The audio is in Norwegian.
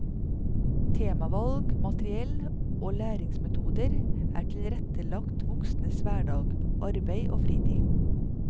Temavalg, materiell og læringsmetoder er tilrettelagt voksnes hverdag, arbeid og fritid.